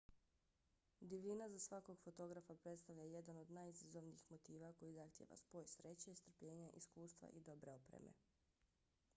divljina za svakog fotografa predstavlja jedan od najizazovnijih motiva koji zahtijeva spoj sreće strpljenja iskustva i dobre opreme